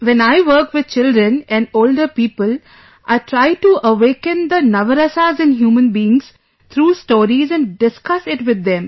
When I work, with children and older people, I try to awaken the Navrasas in human beings through stories and discuss it with them